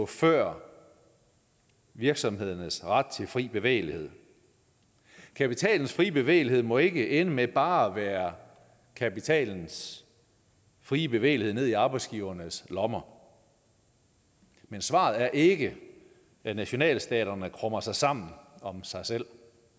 før virksomhedernes ret til fri bevægelighed kapitalens frie bevægelighed må ikke ende med bare at være kapitalens frie bevægelighed ned i arbejdsgivernes lommer men svaret er ikke at nationalstaterne krummer sig sammen om sig selv